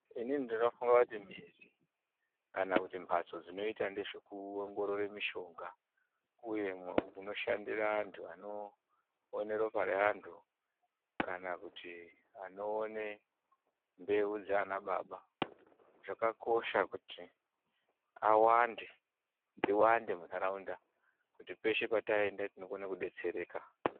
Inini ndinofunga kuti mizi kana kuti mbatso dzinoita nezvekuongorora mishonga uye munoshandira antu anoone ropa reantu kana kuti anoone mbeu dzaana baba zvakakosha kuti awande, dziwande muntdaraunda, kuti peshe pataenda tinokone kudetseeeka.